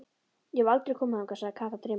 Ég hef aldrei komið þangað, sagði Kata dreymandi.